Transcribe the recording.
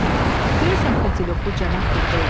Görəsən, katelyoklu cənab burda idi?